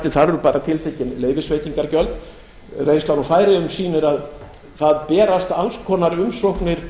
þar eru bara tiltekin leyfisveitingargjöld reynslan úr færeyjum sýnir að það berast alls konar umsóknir